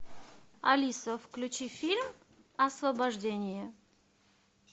алиса включи фильм освобождение